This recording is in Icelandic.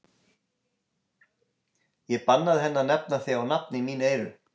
Ég bannaði henni að nefna þig á nafn í mín eyru.